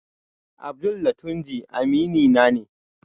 Abdul da Tunji aminina ne